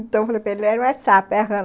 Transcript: Então eu falei para ele, não é sapo, é rã.